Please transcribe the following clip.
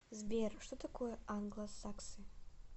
сбер что такое англосаксы